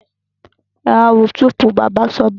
Ẹ wá a wo túùúpú! bàbá sọ bẹ́ẹ̀.